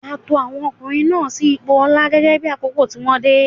A to àwọn ọkùnrin náà sí ipò ọlá gẹ́gẹ́ bí àkókò tí wọ́n dé.